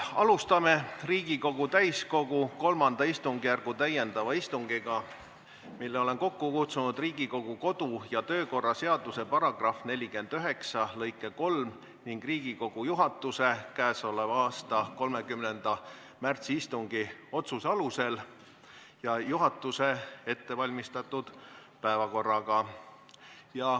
Alustame Riigikogu täiskogu III istungjärgu täiendavat istungit, mille olen kokku kutsunud Riigikogu kodu- ja töökorra seaduse § 49 lõike 3 ning Riigikogu juhatuse käesoleva aasta 30. märtsi istungi otsuse alusel ja juhatuse ettevalmistatud päevakorraga.